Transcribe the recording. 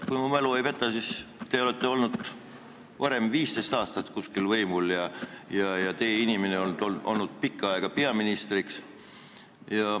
Kui mu mälu mind ei peta, siis te olete olnud 15 aastat võimul ja teie inimene on olnud pikka aega peaminister.